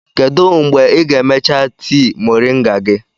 Kedu mgbe ị ga-emecha tii moringa gị?